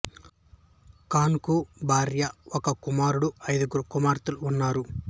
ఖాన్ కు భార్య ఒక కుమారుడు ఐదుగురు కుమార్తెలు ఉన్నారు